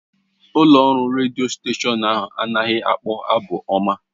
Ụlọ ọrụ redio ahụ anaghị akpọ abụ ọma.